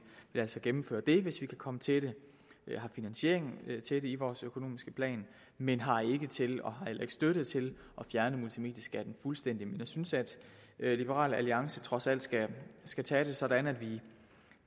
altså gennemføre det hvis vi kan komme til det vi har finansieringen til det i vores økonomiske plan men har ikke nok til og har heller ikke støtte til det at fjerne multimedieskatten fuldstændig men jeg synes at liberal alliance trods alt skal tage det sådan at vi